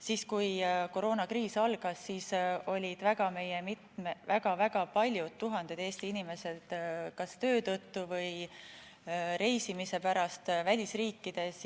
Siis, kui koroonakriis algas, olid väga-väga paljud, tuhanded Eesti inimesed kas töö tõttu või reisimise pärast välisriikides.